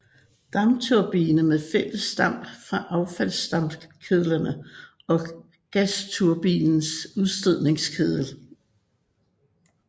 Dampturbine med fælles damp fra affaldsdampkedlerne og gasturbinens udstødningskedlen